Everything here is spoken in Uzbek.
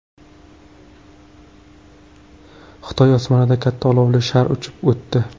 Xitoy osmonidan katta olovli shar uchib o‘tdi .